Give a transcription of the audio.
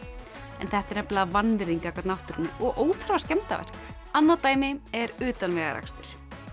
en þetta er nefnilega vanvirðing gagnvart náttúrunni og óþarfa skemmdarverk annað dæmi er utanvegaakstur